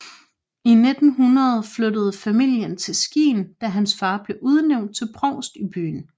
I 1900 flyttede familien til Skien da hans far blev udnævnt til provst i byen